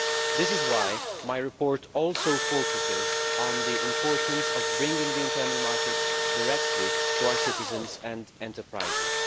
That is why my report also focuses on the importance of bringing the internal market directly to our citizens and enterprises.